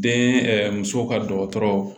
Den muso ka dɔgɔtɔrɔ